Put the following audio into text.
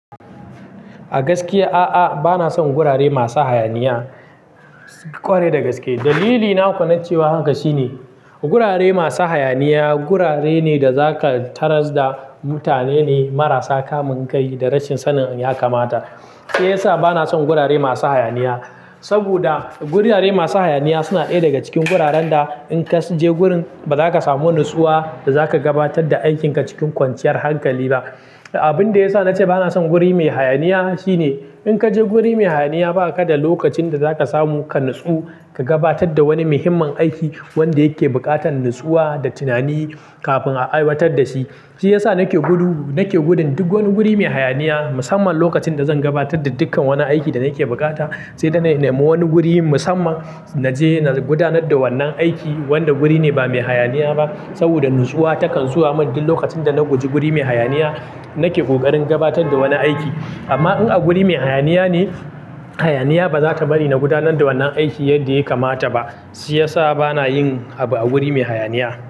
A gaskiya a'a, bana son gurare masu hayaniya. Kware da gaske. Dalili na kwana cewa haka shine gurare masu hayaniya, gurare ne da zaka tarar da mutane ne marasa kamun kai da rashin sanin ya kamata. Shi ya sa bana son gurare masu hayaniya. Saboda gurare masu hayaniya suna ɗaya daga cikin guraren da in ka je gurin ba za ka samu natsuwa da za ka gabatar da aikin ka cikin kwanciyar hankali ba. Abin da ya sa na ce bana son guri mai hayaniya shine in ka je guri mai hayaniya ba ka da lokacin da za ka samu ka natsu ka gabatar da wani muhimmin aiki wanda yake buƙatar natsuwa da tunani kafin a aiwatar da shi. Shi ya sa nake gudu, nake gudun duk wani guri mai hayaniya musamman lokacin da zan gabatar da dukkan wani aiki da yake bukata, sai da na nemi wani guri musamman na je na gudanar da wannan aiki. Wanda guri ne ba mai hayaniya ba saboda natsuwa takan zuwa mun duk lokacin da na guji guri mai hayaniya nake kokarin gabatar da wani aiki. Amma in a guri mai hayaniya ne, hayaniya ba za ta bari na gudanar da wannan aiki yadda ya kamata ba. Shi ya sa bana yin abu a guri mai hayaniya.